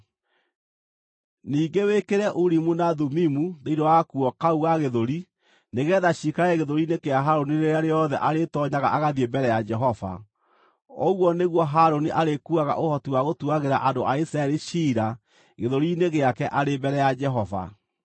Ningĩ wĩkĩre Urimu na Thumimu thĩinĩ wa gakuo kau ga gĩthũri, nĩgeetha ciikarage gĩthũri-inĩ kĩa Harũni rĩrĩa rĩothe arĩĩtoonyaga agathiĩ mbere ya Jehova. Ũguo nĩguo Harũni arĩkuuaga ũhoti wa gũtuagĩra andũ a Isiraeli ciira gĩthũri-inĩ gĩake arĩ mbere ya Jehova.